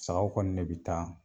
Sagaw kɔni ne bi taa.